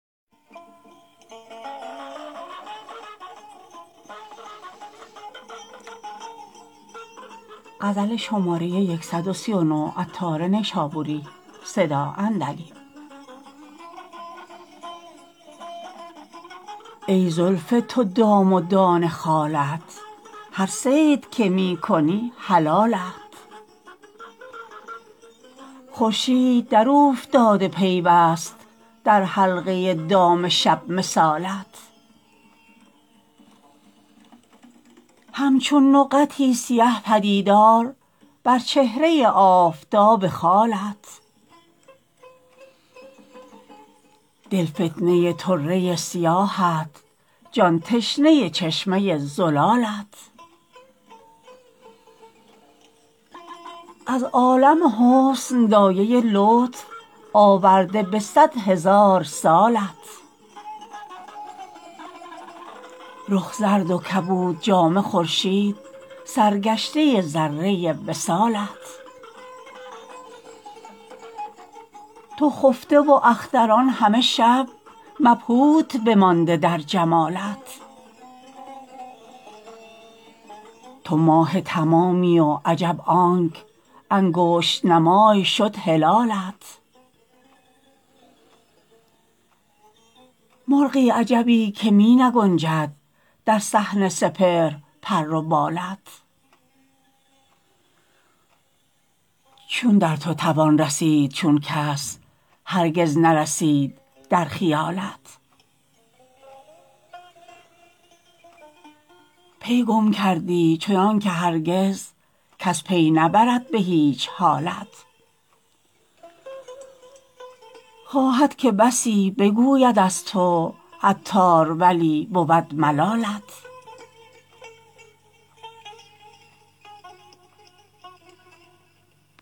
ای زلف تو دام و دانه خالت هر صید که می کنی حلالت خورشید دراوفتاده پیوست در حلقه دام شب مثالت همچون نقطی سیه پدیدار بر چهره آفتاب خالت دل فتنه طره سیاهت جان تشنه چشمه زلالت از عالم حسن دایه لطف آورده به صد هزار سالت رخ زرد و کبود جامه خورشید سرگشته ذره وصالت تو خفته و اختران همه شب مبهوت بمانده در جمالت تو ماه تمامی و عجب آنک انگشت نمای شد هلالت مرغی عجبی که می نگنجد در صحن سپهر پر و بالت چون در تو توان رسید چون کس هرگز نرسید در خیالت پی گم کردی چنانکه هرگز کس پی نبرد به هیچ حالت خواهد که بسی بگوید از تو عطار ولی بود ملالت